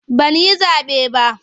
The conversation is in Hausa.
Ban yi zaɓe ba.